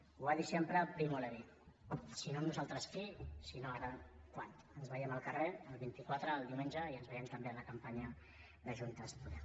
ho va dir sempre primo levi si no nosaltres qui si no ara quan ens veiem al carrer el vint quatre el diumenge i ens veiem també en la campanya de juntes podem